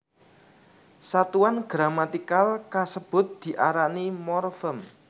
Satuan gramatikal kasebut diarani morfem